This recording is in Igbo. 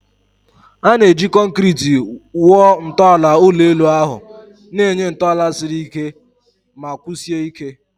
A na-eji concreti wuo ntọala ụlọ elu ahụ, na-enye ntọala siri ike ma kwụsie ike.